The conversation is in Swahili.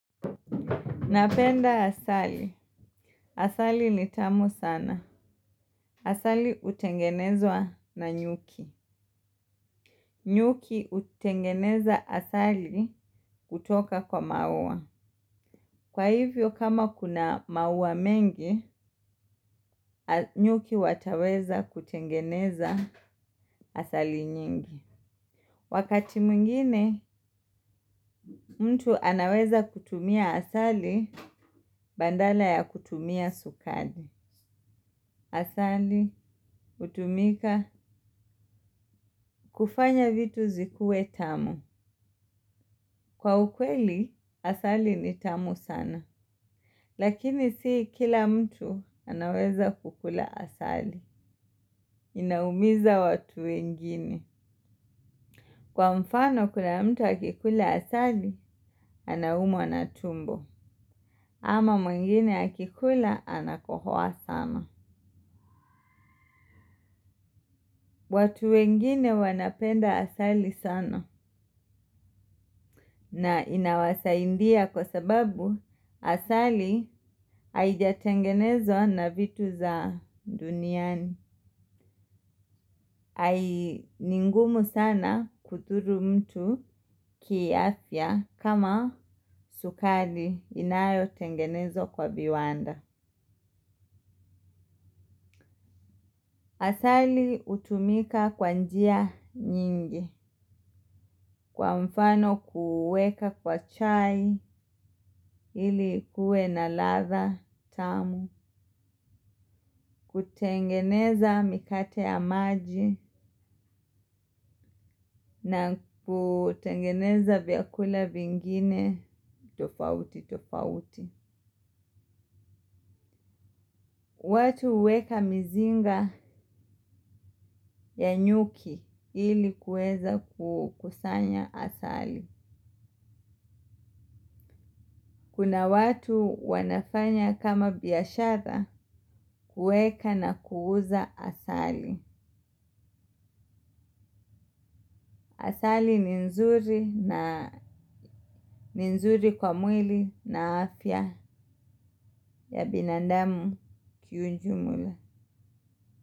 Napenda asali, asali ni tamu sana. Asali utengenezwa na nyuki. Nyuki hutengeneza asali kutoka kwa maua. Kwa hivyo kama kuna maua mengi, nyuki wataweza kutengeneza asali nyingi. Wakati mwingine mtu anaweza kutumia asali badala ya kutumia sukari. Asali hutumika kufanya vitu zikuwe tamu. Kwa ukweli asali ni tamu sana. Lakini sii kila mtu anaweza kukula asali. Inaumiza watu wengine. Kwa mfano kuna mtu akikula asali, anaumwa na tumbo, ama mwingine akikula anakohoa sana. Watu wengine wanapenda asali sana na inawasaidia kwa sababu asali haijatengenezwa na vitu za duniani. Ni ngumu sana kudhuru mtu kiafya kama sukari inayotengenezwa kwa viwanda. Asali hutumika kwa njia nyingi kwa mfano kuweka kwa chai ili ikuwe na ladha tamu, kutengeneza mikate ya maji na kutengeneza vyakula vingine tofauti tofauti. Watu huweka mizinga ya nyuki ilikuwe za kukusanya asali. Kuna watu wanafanya kama biashara kuweka na kuuza asali. Asali ni nzuri kwa mwili na afya ya binadamu kiujumla.